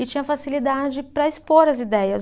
E tinha facilidade para expor as ideias.